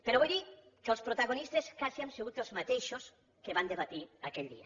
però vull dir que els protagonistes quasi hem sigut els mateixos que van debatre aquell dia